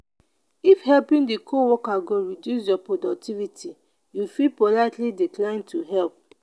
if helping di co-worker go reduce your productivity you fit politely decline to help